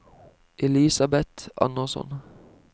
Elisabeth Andersson